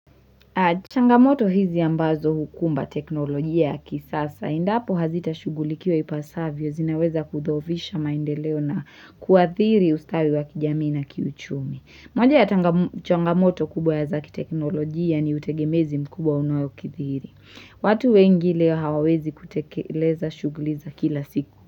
Changamoto hizi ambazo hukumba teknolojia yaki sasa. Indapo hazita shugulikiwa ipasavyo zinaweza kudhovisha maendeleo na kuathiri ustawi wakijamii na kiuchumi. Moja ya changamoto kubwa ya zaki teknolojia ni utegemezi mkubwa unayo kithiri. Watu wengi leo hawawezi kutekeleza shuguliza kila siku.